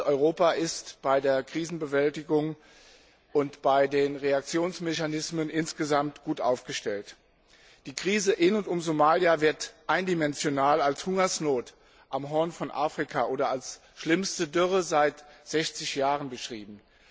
Europa ist bei der Krisenbewältigung und bei den Reaktionsmechanismen insgesamt gut aufgestellt. Die Krise in und um Somalia wird eindimensional als Hungersnot am Horn von Afrika oder als schlimmste Dürre seit 60 Jahren beschrieben.